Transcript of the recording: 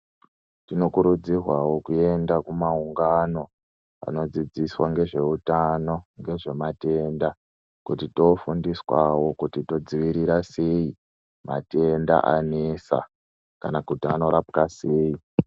Tinokurudzirwawo kuenda kumaungano anodzidziswa ngezveutano, ngezvematenda kuti toofundiswawo kuti todzivirira sei matenda anesa kana kuti anorapwa sei.